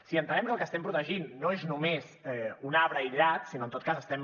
si entenem que el que estem protegint no és només un arbre aïllat sinó que en tot cas estem